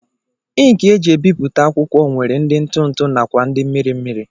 Ịnkị e ji ebipụta akwụkwọ nwere ndị ntụntụ nakwa ndị mmiri mmiri